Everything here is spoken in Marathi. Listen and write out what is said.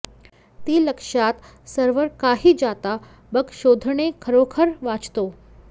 ती लक्षात सर्व्हर काही जाता बग शोधणे खरोखर वाचतो